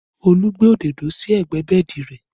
Olú gbé òdodo sí ẹgbẹ́ bẹ́ẹ̀dì rẹ